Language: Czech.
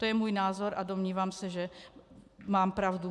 To je můj názor a domnívám se, že mám pravdu.